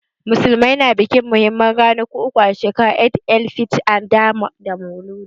Musulmai na bikin muhimman ranaku uku a shekara, Eid-el-fitr, Adha da Maulud.